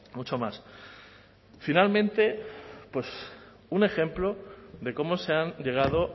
mucho más finalmente un ejemplo de cómo se han llegado